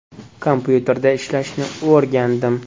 Kompyuterda ishlashni o‘rgandim.